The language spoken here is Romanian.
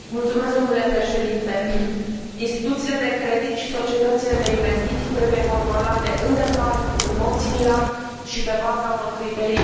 Instituțiile de credit și societățile de investiții trebuie controlate în detaliu, în mod similar și pe baza unor criterii unice în toate statele membre.